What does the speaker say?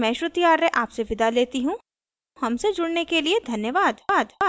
I I T Bombay से मैं श्रुति आर्य आपसे विदा लेती हूँ हमसे जुड़ने के लिए धन्यवाद